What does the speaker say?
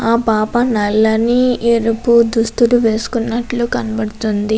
ఆ పాపా నల్లని ఎరుపు దుస్తువులు వేసుకున్నట్టు కనిపిస్తుంది.